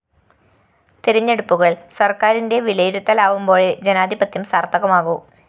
തെരഞ്ഞെടുപ്പുകള്‍ സര്‍ക്കാരിന്റെ വിലയിരുത്തലാവുമ്പോഴേ ജനാധിപത്യം സാര്‍ത്ഥകമാകൂ